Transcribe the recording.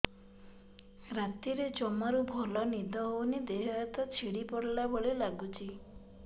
ରାତିରେ ଜମାରୁ ଭଲ ନିଦ ହଉନି ଦେହ ହାତ ଛିଡି ପଡିଲା ଭଳିଆ ଲାଗୁଚି